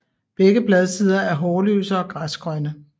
Begge bladsider er hårløse og græsgrønne